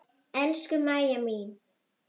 Elsku Maja mín.